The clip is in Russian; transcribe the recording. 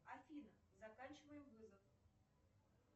афина заканчиваем вызов